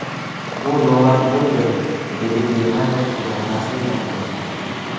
Bu nomaqbuldir”, dedi Germaniya hukumati rasmiy vakili.